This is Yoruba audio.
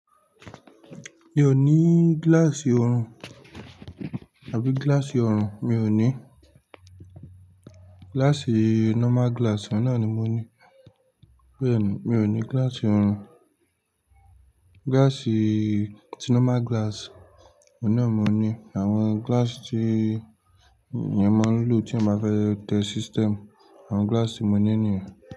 Mi ò ní gíláàsì oorun tàbí gíláàsì oorun, mi ò ní. Gíláàsì normal glass ohun naa ni mo ní. Well, mi ò ní gíláàsì oorun. Gíláàsì tí normal glass ohun naa ni mo ní. Àwọn gíláàsì tí eyan máa ń lò tí eyan bá fẹ́ tẹ system, àwọn gíláàsì mo ní niyen.